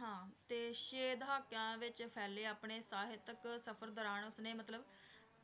ਹਾਂ ਤੇ ਛੇ ਛੇ ਦਹਾਕਿਆਂ ਵਿੱਚ ਫੈਲੇ ਆਪਣੇ ਸਾਹਿਤਕ ਸਫ਼ਰ ਦੌਰਾਨ ਉਸਨੇ ਮਤਲਬ